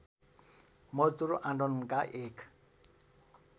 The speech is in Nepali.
मजदुर आन्दोलनका एक